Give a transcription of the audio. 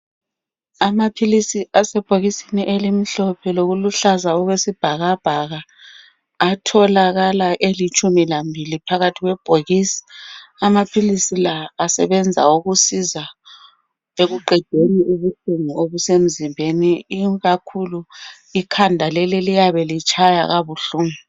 Amaphilisi asebhokisini elimhlophe, lokuluhlaza okwesibhakabhaka. Atholakala elitshumi lambili, phakathi kwebhokisi. Amaphilisi la asebenza ukuqeda inhlungu eziyabe zisemzimbeni. Ikakhulu, ikhanda leli, eliyabe litshaya kabuhlungu.